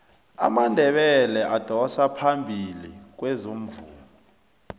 amandebele adosa phambili kwezomvumo